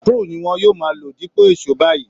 Screw ni wọn yóò máa lò dípò èṣó báyìí